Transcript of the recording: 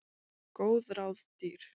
Góð ráð dýr.